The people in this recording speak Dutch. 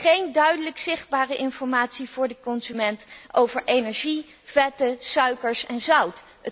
Geen duidelijk zichtbare informatie voor de consument over energie, vetten, suikers en zout.